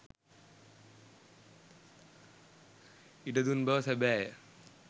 ඉඩ දුන් බව සැබෑය.